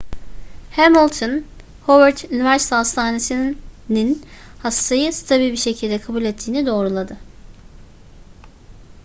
hamilton howard üniversite hastanesi'nin hastayı stabil bir şekilde kabul ettiğini doğruladı